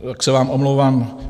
Tak se vám omlouvám.